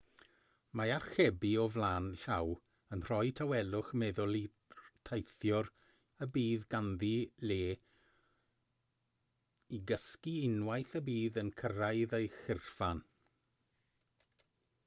mae archebu o flaen llaw yn rhoi tawelwch meddwl i'r teithiwr y bydd ganddi le i gysgu unwaith y bydd yn cyrraedd ei chyrchfan